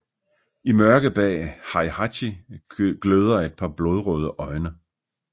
I mørket bag Heihachi gløder et par blodrøde øjne